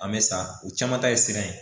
An bɛ sa u caman ta ye siran ye